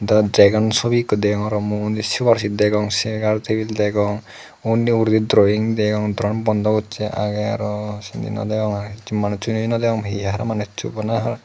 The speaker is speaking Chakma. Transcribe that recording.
subi ikko degongor muondi subarsit degong segar tebil degong undi ugurenni drowing degong doran bondo gosse age arw sinni nw degong r manussuyo nw degong r nei r manusso arw manusso rajje gan.